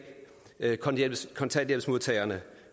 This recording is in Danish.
kontanthjælpsmodtagerne